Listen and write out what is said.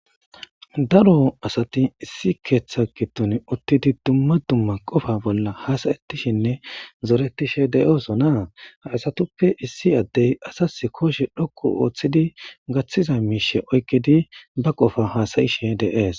daro asati issi keeththa giddon uttidi dumma dumma qofa bolla hasayettishinne zoretishe deyoosona haasatuppe issi addey asas koshe dhokku ooththidi gaththiza miishe oykkidi ba qofa haasayishe deees